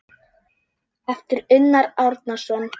eftir Unnar Árnason